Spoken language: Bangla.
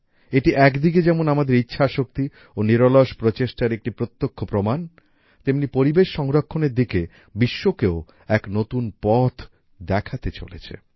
এটি একদিকে যেমন আমাদের ইচ্ছা শক্তি ও নিরলস প্রচেষ্টার একটি প্রত্যক্ষ প্রমাণ তেমনি পরিবেশ সংরক্ষণের দিকে বিশ্বকেও এক নতুন পথ দেখাতে চলেছে